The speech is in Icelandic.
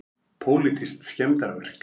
Pólitísk skemmdarverk